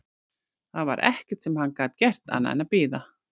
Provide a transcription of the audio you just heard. Það var ekkert sem hann gat gert annað en að bíða.